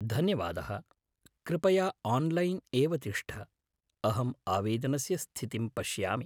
धन्यवादः, कृपया आन्लैन्‌ एव तिष्ठ, अहम्‌ आवेदनस्य स्थितिं पश्यामि।